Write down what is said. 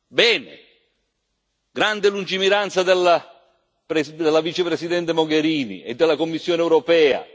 bene, grande lungimiranza della Vicepresidente Mogherini e della Commissione europea.